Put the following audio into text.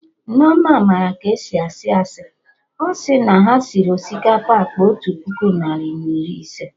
Nneoma ma ka esi asị asị, ọsị na ha sịrị osikapa akpa otu puku narị na iri ise